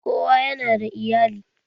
Kowa yana da iyali.